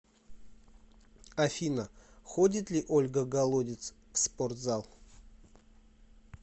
афина ходит ли ольга голодец в спортзал